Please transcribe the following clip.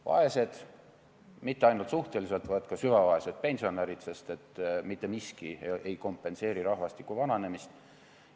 Vaesed, ja mitte ainult suhteliselt vaesed, vaid ka süvavaesed pensionärid, sest et mitte miski ei kompenseeri rahvastiku vananemist.